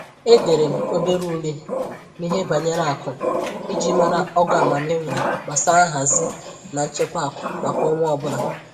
Edere m obere ule n'ihe banyere akụ iji mara ogo amamihe m nwere gbasara nhazi na nchekwa akụ maka ọnwa ọbụla